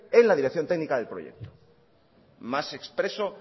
en la dirección técnica del proyecto más expreso